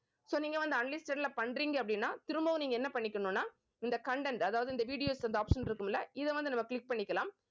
so நீங்க வந்து unlisted ல பண்றீங்க அப்படின்னா திரும்பவும் நீங்க என்ன பண்ணிக்கணும்னா இந்த content அதாவது இந்த videos இந்த option இருக்கும்ல இதை வந்து நம்ம click பண்ணிக்கலாம்